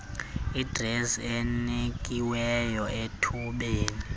adresi enikiweyo ethubeni